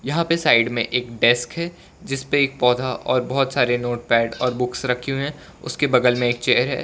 यहां पे साइड में एक डेस्क है जिसपे एक पौधा और बहुत सारे नोटपैड और बुक्स रखे हुए हैं उसके बगल में एक चेयर है।